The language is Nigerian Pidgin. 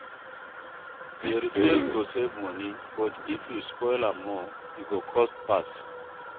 DIY repairs go save money, but if you spoil am more, e go cost pass